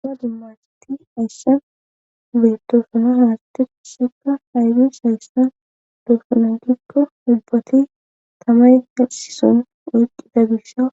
Una dimmaseti hayssa bettosona haraste hisekka haydeys hayssan doosunagikko ubbati tamay hasison oyqida gisha